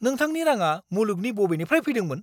नोंथांनि राङा मुलुगनि बबेनिफ्राय फैदोंमोन?